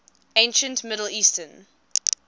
ancient middle eastern